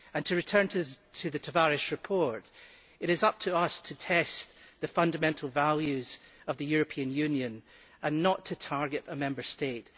To return to the Tavares report, it is up to us to test the fundamental values of the European Union and not to target a Member State.